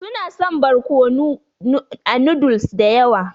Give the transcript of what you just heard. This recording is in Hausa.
Su na son barkonu a noodles da yawa.